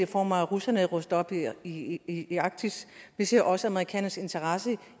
form af at russerne opruster i i arktis vi ser også amerikanernes interesse